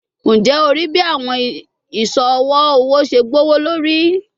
Njẹ o rii bi awọn iṣọ ọwọ ọwọ ṣe gbowolori?